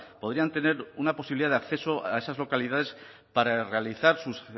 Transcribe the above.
podrían tener una posibilidad de acceso a esas localidades para realizar sus